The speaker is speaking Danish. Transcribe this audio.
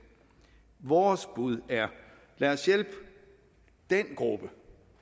vores bud er lad os hjælpe den gruppe